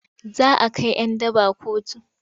Za a kai 'yan daba kotu.